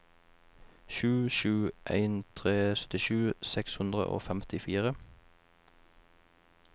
sju sju en tre syttisju seks hundre og femtifire